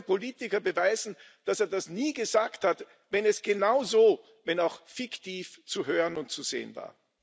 Wie soll ein Politiker beweisen, dass er das nie gesagt hat, wenn es genauso, wenn auch fiktiv, zu hören und zu sehen war?